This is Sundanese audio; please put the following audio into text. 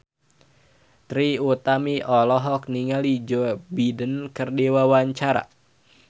Trie Utami olohok ningali Joe Biden keur diwawancara